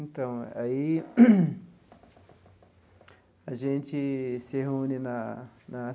Então, aí a gente se reúne na na.